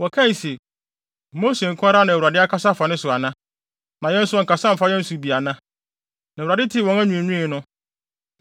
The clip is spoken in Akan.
Wɔkae se, “Mose nko ara na Awurade akasa afa ne so ana? Na yɛn nso ɔnkasa mfa yɛn so bi ana?” Na Awurade tee wɔn anwiinwii no.